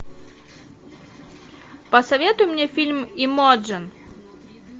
посоветуй мне фильм эмоджн